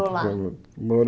Lá Mo